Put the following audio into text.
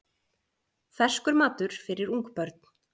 Ferskur matur fyrir ungbörn